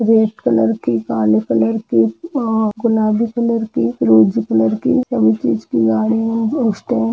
red colour की काले colour की अअ गुलाबी कलर की फिरोजी कलर की हर चीज की गाड़ियों की स्टैन्ड --